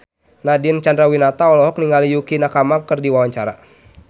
Nadine Chandrawinata olohok ningali Yukie Nakama keur diwawancara